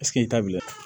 i t'a bila